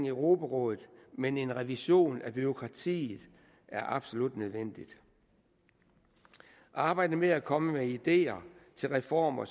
europarådet men en revision af bureaukratiet er absolut nødvendig arbejdet med at komme med ideer til reformer